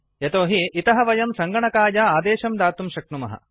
यतोहि इतः वयं सङ्गणकाय आदेशं दातुं शक्नुमः